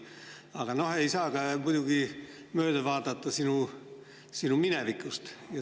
Aga ei saa muidugi mööda vaadata sinu minevikust.